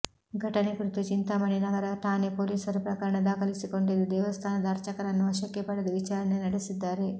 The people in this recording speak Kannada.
ಘಟನೆ ಕುರಿತು ಚಿಂತಾಮಣಿ ನಗರ ಠಾಣೆ ಪೋಲೀಸರು ಪ್ರಕರಣ ದಾಖಲಿಸಿಕೊಂಡಿದ್ದು ದೇವಸ್ಥಾನದ ಅರ್ಚಕನನ್ನು ವಶಕ್ಕೆ ಪಡೆದು ವಿಚಾರಣೆ ನಡೆಸಿದ್ದಾರೆ